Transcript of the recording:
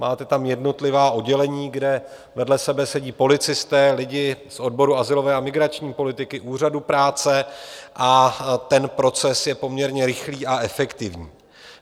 Máme tam jednotlivá oddělení, kde vedle sebe sedí policisté, lidi z odboru azylové a migrační politiky, úřadu práce a ten proces je poměrně rychlý a efektivní.